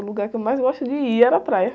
O lugar que eu mais gosto de ir era a praia.